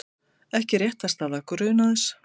Ekki réttarstaða grunaðs